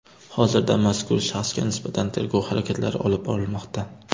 Hozirda mazkur shaxsga nisbatan tergov harakatlari olib borilmoqda.